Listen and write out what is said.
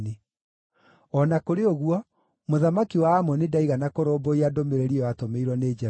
O na kũrĩ ũguo, mũthamaki wa Amoni ndaigana kũrũmbũiya ndũmĩrĩri ĩyo aatũmĩirwo nĩ Jefitha.